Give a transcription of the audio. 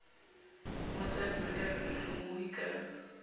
mo tadima ka pelotlhomohi ka